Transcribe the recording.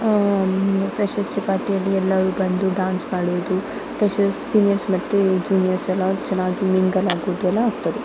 ಹಾಂ ಪ್ರಶಸ್ತಿ ಪಾರ್ಟಿ ಯಲ್ಲಿ ಎಲ್ಲರು ಬಂದು ಡ್ಯಾನ್ಸ್ ಮಾಡುವುದು ಫ್ರೆಷೆರ್ಸ್ ಸೀನಿಯರ್ಸ್ ಮತ್ತೆ ಜೂನಿಯರ್ಸ್ ಎಲ್ಲ ಚೆನ್ನಾಗಿ ಮಿಂಗ್ಲ್ ಆಗೋದು ಎಲ್ಲ ಆಗ್ತದೆ .